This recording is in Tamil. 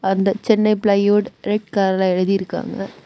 அந்த சென்னை பிளைவுட் ரெட் கலர்ல எழுதிருக்காங்க.